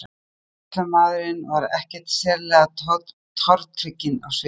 En afgreiðslumaðurinn var ekkert sérlega tortrygginn á svipinn.